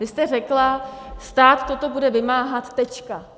Vy jste řekla: stát toto bude vymáhat teď.